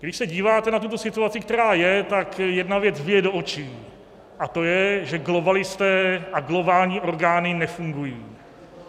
Když se díváte na tuto situaci, která je, tak jedna věc bije do očí, a to je, že globalisté a globální orgány nefungují.